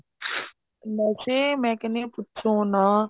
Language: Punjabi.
ਨਸ਼ੇ ਮੈਂ ਕਹਿੰਨੀ ਆ ਪੁੱਛੋ ਨਾ